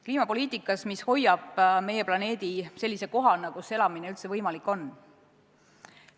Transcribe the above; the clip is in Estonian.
Kliimapoliitika, mis hoiab meie planeedi sellise kohana, kus elamine üldse võimalik on.